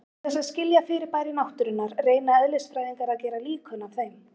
Til þess að skilja fyrirbæri náttúrunnar reyna eðlisfræðingar að gera líkön af þeim.